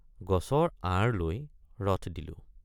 গছৰ আঁৰ লৈ ৰথ দিলোঁ।